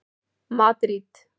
Madríd